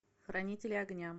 хранители огня